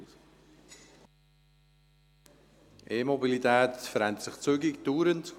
Die E-Mobilität verändert sich zügig und dauernd.